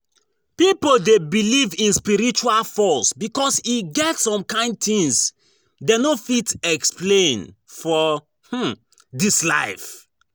Pipo de believe in spiritual force because e get some kind things dem no fit explain for um dis life